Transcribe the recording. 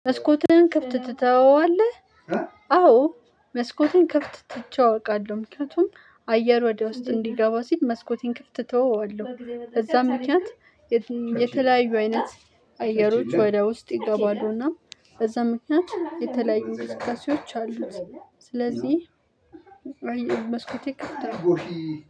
መስኮትህን ከፍት ትተዋለህ? አዎ መስኮትን ከፍት ትቼ አውቃለሁ ምክንያቱም አየር ወደ ውስጥ እንዲገባ ሲል መስኮቴን ክፍት ተወዋለሁ በዛም ምክንያት። የተለያዩ አይነት አየሮች ወደ ውስጥ ይገባሉ እና በዛም ምክንያት የተለያዩ እንቅስቃሴዎች አሉት። ስለዚህ መስኮቴ ክፍት ነው።